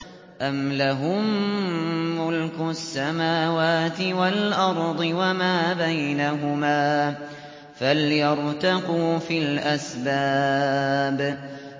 أَمْ لَهُم مُّلْكُ السَّمَاوَاتِ وَالْأَرْضِ وَمَا بَيْنَهُمَا ۖ فَلْيَرْتَقُوا فِي الْأَسْبَابِ